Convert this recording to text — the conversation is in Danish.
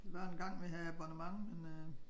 Der var engang vi havde abbonement men øh